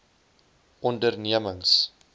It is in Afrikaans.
ondernemings